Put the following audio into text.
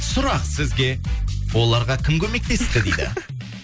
сұрақ сізге оларға кім көмектесті дейді